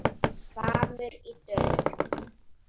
HVAMMUR Í DÖLUM